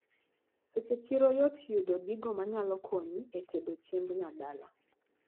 Seche chiro yot yudo gigo manyalo konyi etedo chiemb nyadala.